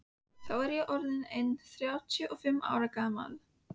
Þá var ég orð inn þrjátíu og fimm ára gamall.